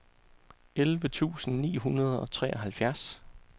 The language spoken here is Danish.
elleve tusind ni hundrede og treoghalvtreds